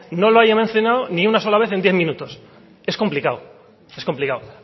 no lo haya mencionado ni una sola vez en diez minutos es complicado es complicado